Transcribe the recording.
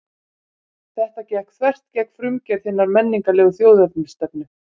Þetta gekk þvert gegn frumgerð hinnar menningarlegu þjóðernisstefnu.